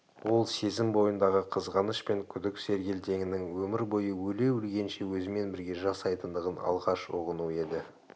ол сезім бойындағы қызғаныш пен күдік сергелдеңінің өмір бойы өле-өлгенше өзімен бірге жасайтындығын алғаш ұғыну еді